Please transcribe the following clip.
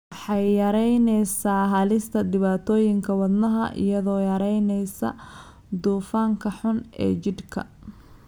Waxay yaraynaysaa halista dhibaatooyinka wadnaha iyadoo yaraynaysa dufanka xun ee jidhka.